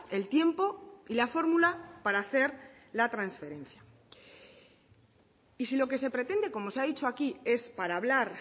el tiempo y la fórmula para hacer la transferencia y si lo que se pretende como se ha dicho aquí es para hablar